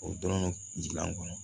O dɔrɔn gilan kɔnɔ